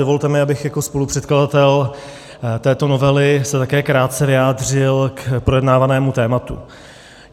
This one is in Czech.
Dovolte mi, abych jako spolupředkladatel této novely se také krátce vyjádřil k projednávanému tématu.